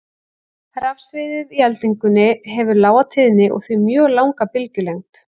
Rafsviðið í eldingunni hefur lága tíðni og því mjög langa bylgjulengd.